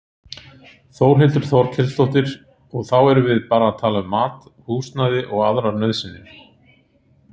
Þórhildur Þorkelsdóttir: Og þá erum við bara að tala um mat, húsnæði og aðrar nauðsynjar?